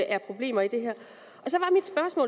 er problemer i det her